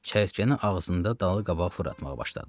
Çəyirtkəni ağzında dalı-qabağa fırlatmağa başladı.